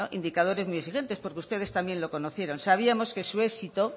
indicadores muy exigentes porque ustedes también lo conocieron sabíamos que su éxito